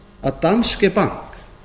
að danske bank